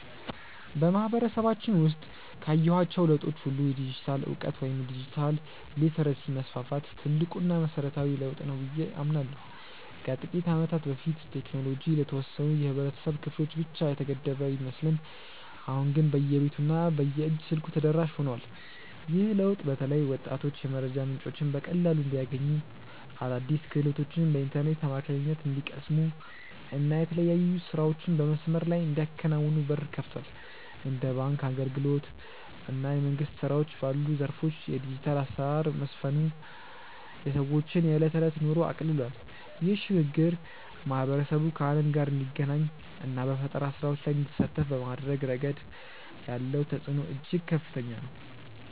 በማህበረሰባችን ውስጥ ካየኋቸው ለውጦች ሁሉ የዲጂታል እውቀት ወይም ዲጂታል ሊተረሲ መስፋፋት ትልቁና መሰረታዊው ለውጥ ነው ብዬ አምናለሁ። ከጥቂት ዓመታት በፊት ቴክኖሎጂ ለተወሰኑ የህብረተሰብ ክፍሎች ብቻ የተገደበ ቢመስልም አሁን ግን በየቤቱ እና በየእጅ ስልኩ ተደራሽ ሆኗል። ይህ ለውጥ በተለይ ወጣቶች የመረጃ ምንጮችን በቀላሉ እንዲያገኙ፣ አዳዲስ ክህሎቶችን በኢንተርኔት አማካኝነት እንዲቀስሙ እና የተለያዩ ስራዎችን በመስመር ላይ እንዲያከናውኑ በር ከፍቷል። እንደ ባንክ አገልግሎት እና የመንግስት ስራዎች ባሉ ዘርፎች የዲጂታል አሰራር መስፈኑ የሰዎችን የዕለት ተዕለት ኑሮ አቅልሏል። ይህ ሽግግር ማህበረሰቡ ከዓለም ጋር እንዲገናኝ እና በፈጠራ ስራዎች ላይ እንዲሳተፍ በማድረግ ረገድ ያለው ተጽዕኖ እጅግ ከፍተኛ ነው።